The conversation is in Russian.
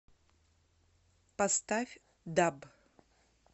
поставь даб